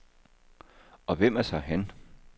Og hvem er så han?